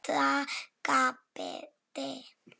Kata gapti.